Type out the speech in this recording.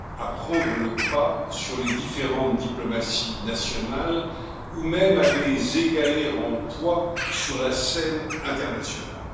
à prendre le pas sur les différentes diplomaties nationales ou même à les égaler en poids sur la scène internationale.